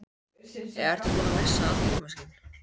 Eða ertu búinn að missa allt tímaskyn?